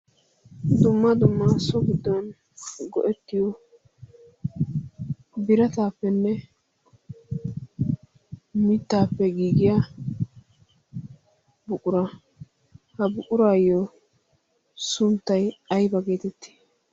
dumma dummaa so biddon go'ettiyo birataappenne mittaappe giigiya buqura ha buquraayyo sunttai aiba geetettii?